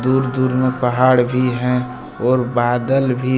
दूर दूर में पहाड़ भी है और बादल भी।